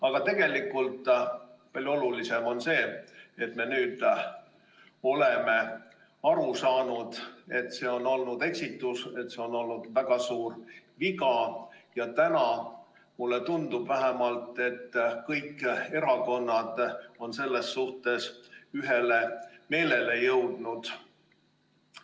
Aga tegelikult palju olulisem on see, et me nüüd oleme aru saanud, et see on olnud eksitus, väga suur viga, ja täna, mulle tundub vähemalt, on kõik erakonnad selles suhtes ühele meelele jõudnud.